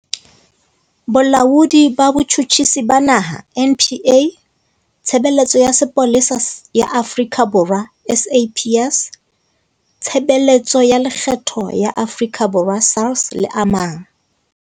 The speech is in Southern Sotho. Bolaodi ba Botjhutjhisi ba Naha NPA, Tshebeletso ya Sepolesa ya Afrika Borwa SAPS, Tshebeletso ya Lekgetho ya Afrika Borwa SARS le a mang.